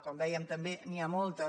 com dèiem també n’hi ha moltes